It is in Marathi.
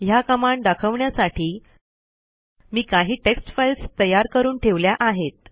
ह्या कमांड दाखवण्यासाठी मी काही टेक्स्ट फाईल्स तयार करून ठेवल्या आहेत